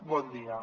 bon dia